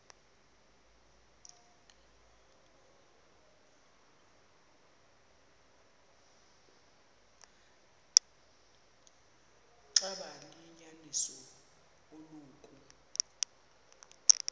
xaba liyinyaniso eloku